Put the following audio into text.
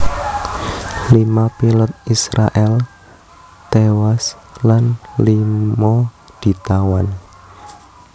Lima pilot Israèl tiwas lan lima ditawan